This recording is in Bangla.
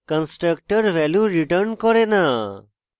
constructors ভ্যালু return করে না